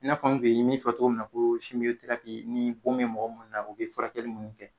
i N'a fɔ n kun ye min fɔ cogo min na ko simio terarapi ni bon be mɔgɔ min na o be furakɛli munnu kɛ